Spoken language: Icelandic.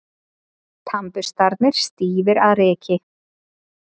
Tannburstarnir stífir af ryki.